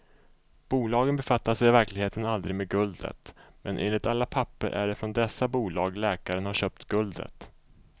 Bolagen befattade sig i verkligheten aldrig med guldet, men enligt alla papper är det från dessa bolag läkaren har köpt guldet.